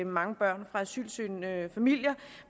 mange børn fra asylsøgende familier